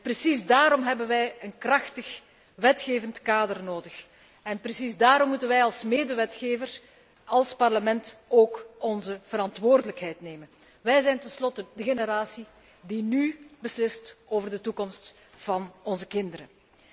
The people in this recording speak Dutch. Precies daarom hebben wij een krachtig wetgevingskader nodig en precies daarom moeten wij als medewetgever, als Parlement ook onze verantwoordelijkheid nemen. Wij zijn tenslotte de generatie die nú beslist over de toekomst van onze kinderen.